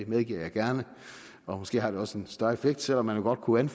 medgiver jeg gerne og måske har det også en større effekt selv om man jo godt kunne